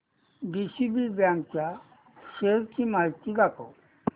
DCB bank च्या shares ची माहिती दाखव